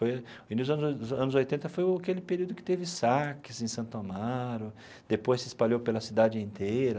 O início dos anos anos oitenta foi o aquele período que teve saques em Santo Amaro, depois se espalhou pela cidade inteira.